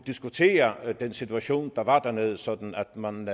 diskutere den situation der var dernede sådan at man